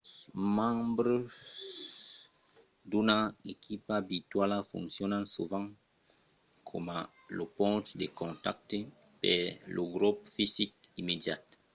los membres d’una equipa virtuala foncionan sovent coma lo ponch de contacte per lor grop fisic immediat